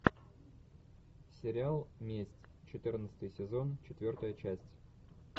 сериал месть четырнадцатый сезон четвертая часть